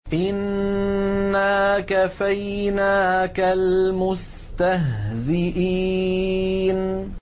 إِنَّا كَفَيْنَاكَ الْمُسْتَهْزِئِينَ